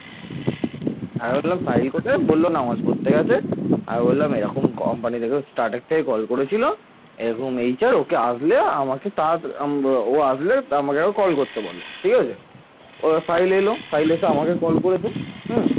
এবার সাহিল এলো সাহিল এসে আমাকে call করেছে। হম